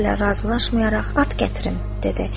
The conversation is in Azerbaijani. Bu sözlərlə razılaşmayaraq, at gətirin, dedi.